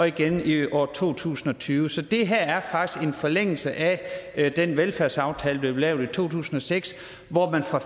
igen i år to tusind og tyve så det her er faktisk en forlængelse af den velfærdsaftale der blev lavet i to tusind og seks hvor man fra